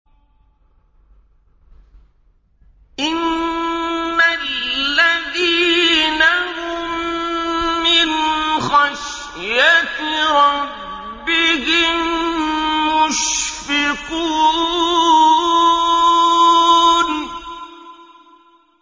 إِنَّ الَّذِينَ هُم مِّنْ خَشْيَةِ رَبِّهِم مُّشْفِقُونَ